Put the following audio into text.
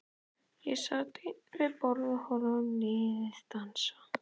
Ég sat ein við borð og horfði á liðið dansa.